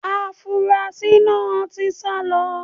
Afunrasí náà ti sá lọ.